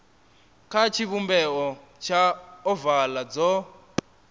kha tshivhumbeo tsha ovala dzo